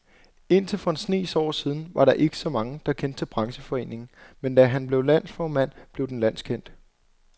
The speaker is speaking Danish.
Indtil for en snes år siden var der ikke mange, der kendte til brancheforeningen, men da han blev landsformand, blev den landskendt.